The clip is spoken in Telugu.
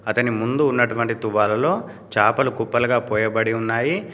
అతని ముందు ఉన్నటువంటి తువాలులో చేపలు కుప్పలుగా పోయబడి ఉన్నాయి.